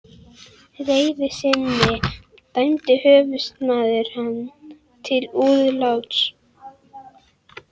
reiði sinni dæmdi höfuðsmaðurinn hann til húðláts.